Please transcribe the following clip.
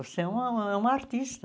Você é uma é uma artista.